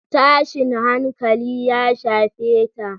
Tashin hankali ya shafe ta.